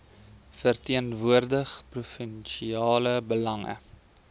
verteenwoordig provinsiale belange